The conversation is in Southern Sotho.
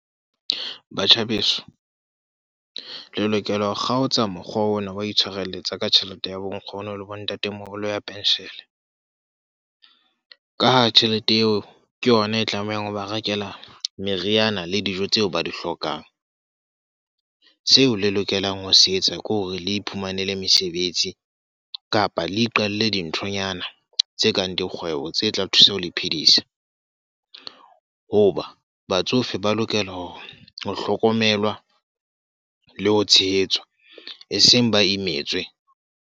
Batjha beso. Le lokela ho kgaotsa mokgwa ona wa itshwareletsa ka tjhelete ya bonkgono le bontatemoholo ya pension. Ka ha tjhelete eo ke yona e tlamehang hoba rekela meriana le dijo tseo ba di hlokang. Seo le lokelang ho se etsa ke hore le iphumanele mesebetsi, kapa le iqalle dinthonyana tse kang dikgwebo tse tla thusa ho le phedisa. Ho ba batsofe ba lokela hore ho hlokomelwa le ho tshehetswa. E seng ba imetswe.